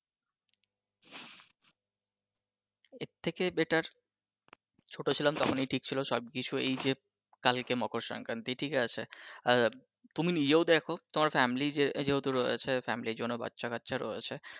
এর থেকে better ছোট ছিলাম তখনি ঠিক ছিল সবকিছু এইযে কালকে মকর সংক্রান্তি ঠিক আছে আর তুমি নিজেও দেখো তোমার family যেহেতু রয়েছে family জন্য বাচ্চা কাচ্ছা রয়েছে